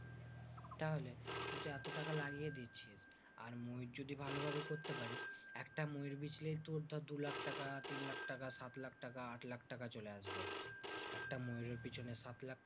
তাহলে তুই তো এত টাকা লাগিয়ে দিচ্ছিস। আর ময়ূর যদি ভালোভাবে করতে পারিস, একটা ময়ূর বেচলেই তোর ধরে দু লাখ টাকা, তিন লাখ টাকা, সাত লাখ টাকা, আট লাখ টাকা চলে আসবে। একটা ময়ূরের পেছনে সাত লাখ টাকা